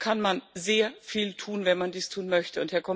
Da kann man sehr viel tun, wenn man dies tun möchte.